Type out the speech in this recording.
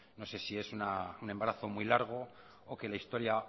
no se si es un embarazo muy largo o que la historia